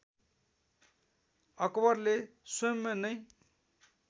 अकबरले स्वयम् नैं